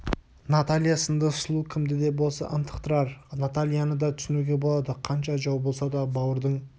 наталья сынды сұлу кімді де болса ынтықтырар натальяны да түсінуге болады қанша жау болса да бауырдың